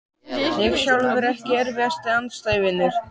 ég sjálfur Ekki erfiðasti andstæðingur?